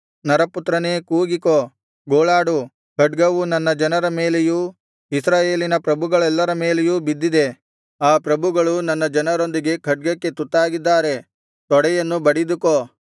ನರಪುತ್ರನೇ ಕೂಗಿಕೋ ಗೋಳಾಡು ಖಡ್ಗವು ನನ್ನ ಜನರ ಮೇಲೆಯೂ ಇಸ್ರಾಯೇಲಿನ ಪ್ರಭುಗಳೆಲ್ಲರ ಮೇಲೆಯೂ ಬಿದ್ದಿದೆ ಆ ಪ್ರಭುಗಳು ನನ್ನ ಜನರೊಂದಿಗೆ ಖಡ್ಗಕ್ಕೆ ತುತ್ತಾಗಿದ್ದಾರೆ ತೊಡೆಯನ್ನು ಬಡಿದುಕೋ